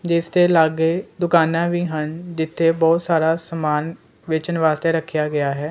ਜਿਸ ਤੇ ਲਾਗੇ ਦੁਕਾਨਾਂ ਵੀ ਹਨ ਜਿੱਥੇ ਬਹੁਤ ਸਾਰਾ ਸਮਾਨ ਵੇਚਣ ਵਾਸਤੇ ਰੱਖਿਆ ਗਿਆ ਹੈ।